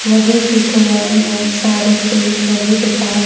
नदी के किनारे बहुत सारे पेड़ लगे हुए दिखाई--